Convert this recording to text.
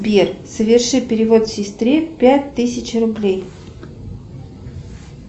сбер соверши перевод сестре пять тысяч рублей